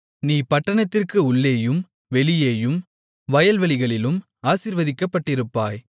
நீ பட்டணத்திற்கு உள்ளேயும் வெளியேயும் வயல்வெளிகளிலும் ஆசீர்வதிக்கப்பட்டிருப்பாய்